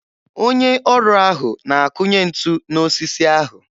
Onye ọrụ ahụ na-akụnye ntu n'osisi ahụ.